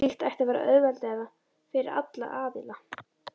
Slíkt ætti að vera auðveldara fyrir alla aðila.